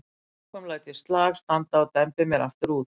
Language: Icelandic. Að lokum læt ég slag standa og dembi mér aftur út.